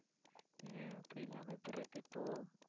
ஏன் அப்படி இல்லாம எப்படி இருக்கு இப்போ?